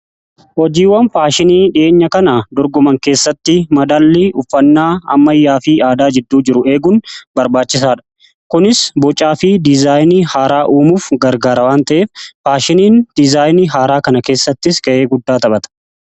Hojiiwwan faashinii dhi'eenya kana dorgoman keessatti madallii uffannaa ammayyaa fi aadaa jidduu jiru eeguun barbaachisaa dha. Kunis bocaa fi dizaayinii haaraa uumuuf gargaara waan ta'eef faashiniin diizaayinii haaraa kana keessattis ga'ee guddaa taphata.